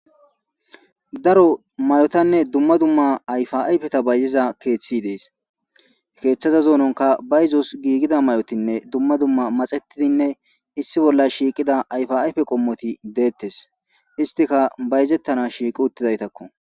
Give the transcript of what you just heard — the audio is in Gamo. Daro may'otanne dumma dumma ayfaayfeta bayzeza keeththi dees keeththaza zoononka ba yizos giigida may'otinne dumma dumma maxetidinne issi bolla shiiqida ayfaayfe qommoti deettes istika bayzettana shiiqi uttidaytakko.